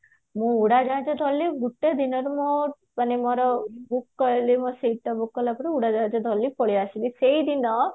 ମୁଁ ଉଡାଜାହାଜ ଚଢିଲି ଗୋଟେ ଦିନରେ ମୋ ମାନେ ମୋର ଉଡାଜାହାଜ ଧରିଲି ପଳେଈ ଆସିଲି ସେଇ ଦିନ